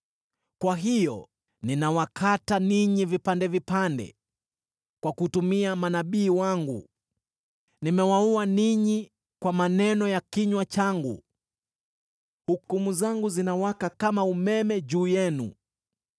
Kwa hiyo ninawakata ninyi vipande vipande kwa kutumia manabii wangu; nimewaua ninyi kwa maneno ya kinywa changu, hukumu zangu zinawaka kama umeme juu yenu.